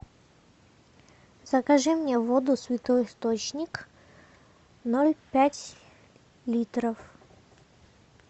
закажи мне воду святой источник ноль пять литров